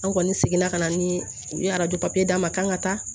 An kɔni sigila ka na ni u ye papiye d'a ma kan ka taa